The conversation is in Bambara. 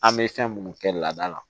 An bɛ fɛn minnu kɛ laada la